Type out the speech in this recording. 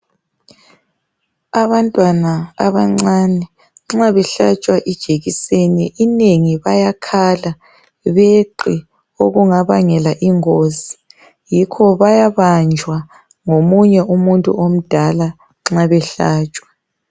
Abantwana abancane nxa behlatshwa ijekiseni inengi bayakhala beqe okungabangela ingozi yikho bayabanjwa ngomunye umuntu omdala nxa behlatshwa